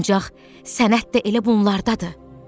Ancaq sənət də elə bunlardadır.